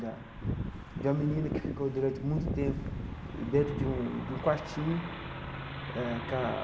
Da de uma menina que ficou durante muito tempo dentro de um de um quartinho eh com a.